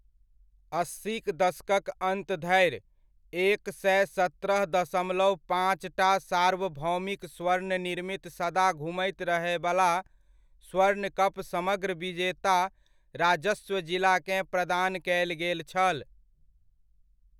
अस्सीक दशकक अन्त धरि एक सए सत्रह दशमलव पाँचटा सार्वभौमिक स्वर्ण निर्मित सदा घूमैत रहयवला स्वर्ण कप समग्र विजेता राजस्व जिलाकेँ प्रदान कयल गेल छल।